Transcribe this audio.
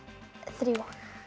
þrjú